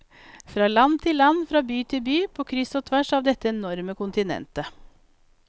Fra land til land, fra by til by, på kryss og tvers av dette enorme kontinentet.